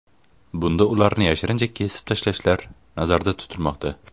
Bunda ularni yashirincha kesib tashlashlar nazarda tutilmoqda.